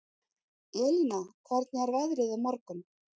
Elina, hvernig er veðrið á morgun?